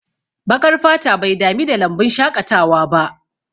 Baƙar fata bai dami da lambun shaƙatawa ba